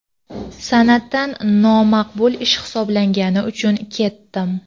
san’atdan nomaqbul ish hisoblangani uchun ketdim.